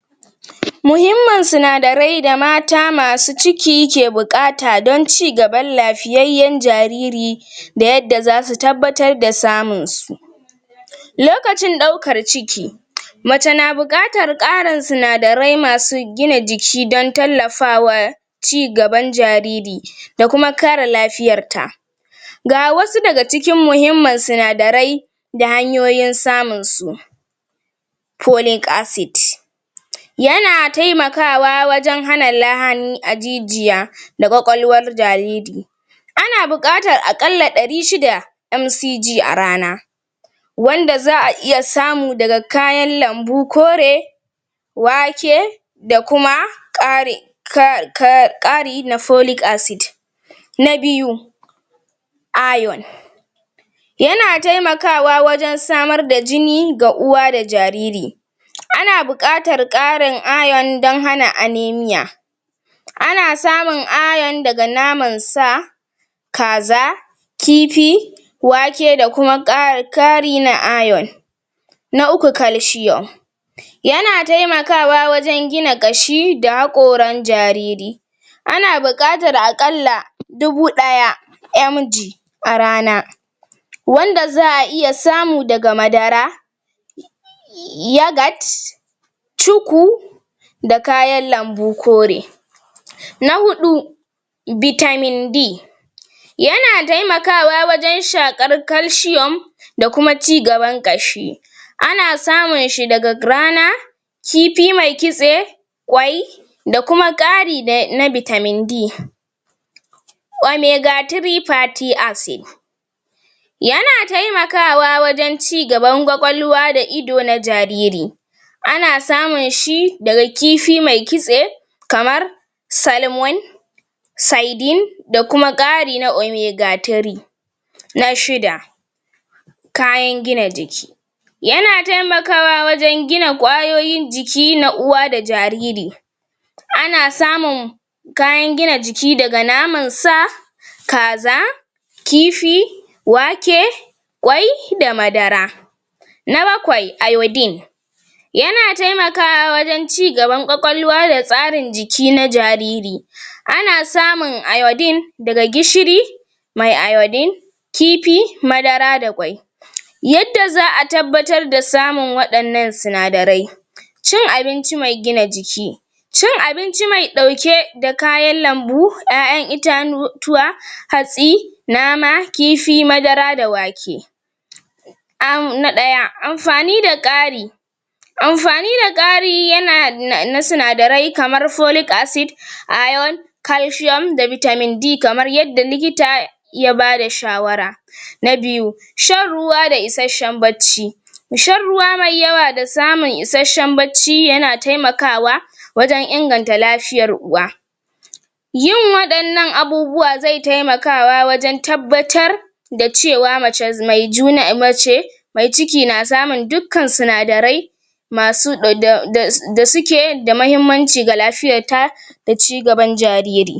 Muhimman sinadarai da mata masu ciki ke buƙata donn cigaban lafiyayyen jariri da yadda zasu tabbatar da samun su lokacin ɗaukar ciki mace na buƙatar ƙarin sinadarai masu gina jiki don tallafawa cigaban jariri da kuma kare lafiyar ta ga wasu daga cikin muhimmman sinadarai da hanyoyin samun su folic acid yana taimakawa wajen hana lahani a jijiya da ƙwaƙwalwar jariri ana buƙatar a ƙalla ɗari shida Mcg a rana wanda za a iya samu daga kayan lambu kore wake da kuma ƙari um na folic acid na biyu iron yana taimakawa wajen samar da jini ga uwa da jariri ana bukatar ƙarin iron don hana anemia ana samun iron daga naman sa kaza kifi wake da kuma ƙara kari a iron na uku calcium yana taimakawa wajen gina ƙashi da hakoran jariri ana buƙatar a ƙalla dubu ɗaya Mg a rana wanda za a iya samu daga madara yogurt, cuku da kayan lambu kore na huɗu vitamin D yana taimakawa wajen shaƙar calcium da kuma cigaban ƙashi ana samun shi daga rana kipi mai kitse kwai da kuma ƙari da na vitamin D Omega 3 fatty acid yana taimakawa wajen cigaban ƙwaƙwalwa da ido na jariri ana samun shi daga kifi mai kitse kamar salmon sidenine da kuma ƙari na Omega 3 na shida kayan gina jiki yana taimakawa wajen gina ƙwayoyin jiki na uwa da jariri ana samun kayan ginna jiki daga naman sa kaza kifi wake ƙwai da madara na bakwai iodine yana taimakawa wajen cigaban ƙwaƙwalwa da tsarin jiki na jariri ana samun iodine daga gishiri mai iodine kipi madara da ƙwai yadda za a tabbatar da samun waɗannan sinadarai cin abinci mai gina jiki cin abinci mai ɗauke da kayan lambu ƴaƴan itatuwa hatsi nama kif madara da wake um na ɗaya abubuwa zai taimakawa wajen tabbatar da cewa mace maijuna mace ma ciki na samun dukkan sinadarai masu [um]da suke da mahimmanci ga lafiyar ta da cigaban jariri.